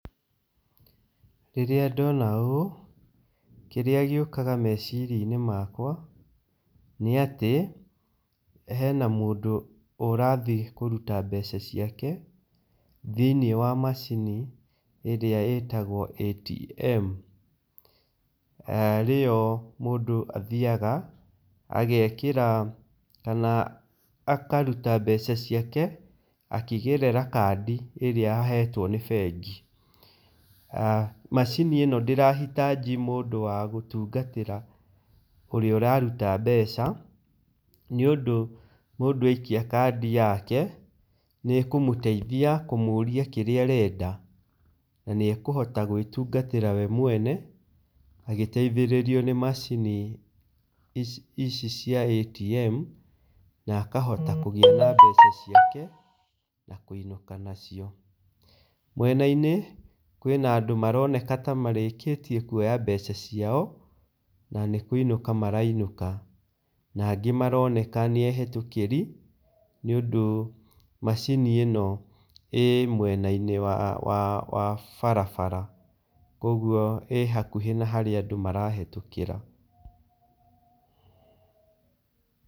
Rĩrĩa ndona ũũ, kĩrĩa gĩũkaga meciria-inĩ makwa, nĩ atĩ, hena mũndũ ũrathiĩ kũruta mbeca ciake, thĩinĩ wa macini ĩrĩa ĩtagwo ATM. Arĩyo mũndũ athiaga, agekĩra kana akaruta mbeca ciake, akĩgerera kandi ĩrĩa ahetwo ni bengi. Macini ĩno ndĩra hitaji mũndũ wa gũtungatĩra ũrĩa ũraruta mbeca, nĩ ũndũ mũndũ aikia kandi yake nĩ ĩkũmũteithia kũmũria kĩrĩa arenda. Na nĩ ekũhota gwĩtungatĩra we mwene agĩteithĩrĩrio nĩ macini ici cia ATM na akahota kũgĩa mbeca ciake, na kũinũka nacio. Mwena-inĩ, kwĩna andũ maroneka ta marĩkĩtie kuoya mbeca ciao na nĩ kũinũka marainũka. Na angĩ maroneka nĩ ehĩtũkĩri nĩ ũndũ macini ĩno ĩĩ mwena-inĩ wa barabara. Koguo ĩ hakuhĩ na harĩa andũ marahĩtũkĩra.